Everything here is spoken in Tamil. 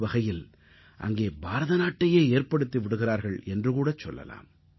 ஒருவகையில் அங்கே பாரத நாட்டையே ஏற்படுத்தி விடுகிறார்கள் என்றுகூடச் சொல்லலாம்